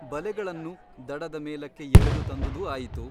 ಬಲೆಗಳನ್ನು ದಡದ ಮೇಲಕ್ಕೆ ಎಳೆದು ತಂದುದೂ ಆಯಿತು.